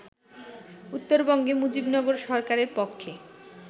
উত্তরবঙ্গে মুজিবনগর সরকারের পক্ষে